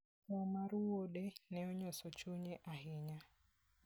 Tho mar wuode ne onyoso chunye ahinya.